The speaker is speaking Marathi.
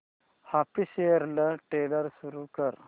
ऑफिशियल ट्रेलर सुरू कर